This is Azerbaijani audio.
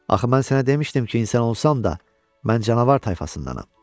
Axı mən sənə demişdim ki, insan olsan da, mən canavar tayfasındanam.